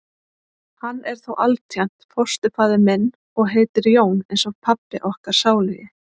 Hann er þó altént fósturfaðir minn. og heitir Jón eins og pabbi okkar sálugi.